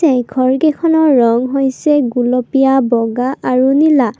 এই ঘৰ কেইখনৰ ৰং হৈছে গুলপীয়া বগা আৰু নীলা।